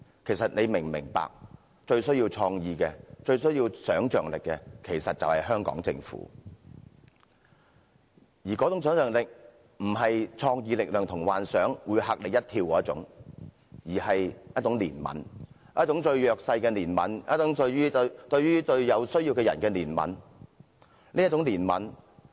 其實你是否明白，最需要創意和想象力的便是香港政府，那種想象力並非"創作力量同幻想會嚇你一跳"那種，而是一種對弱勢和有需要的人的憐憫。